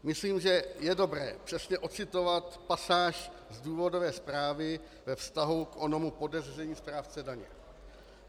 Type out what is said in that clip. Myslím, že je dobré přesně odcitovat pasáž z důvodové zprávy ve vztahu k onomu podezření správce daně.